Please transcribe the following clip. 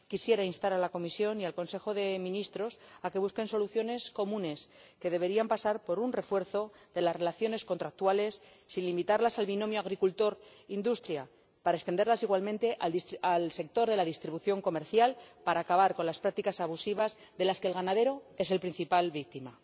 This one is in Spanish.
Quisiera instar a la Comisión y al Consejo de Ministros a que busquen soluciones comunes, que deberían pasar por el refuerzo de las relaciones contractuales, sin limitarlas al binomio agricultor industria, para extenderlas igualmente al sector de la distribución comercial, para acabar con las prácticas abusivas, de las que el ganadero es la principal víctima.